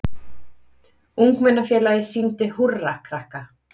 Ungmennafélagið sýndi Húrra krakka